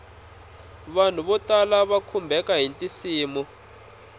vanhu vo tala va khumbeka hiti nsimu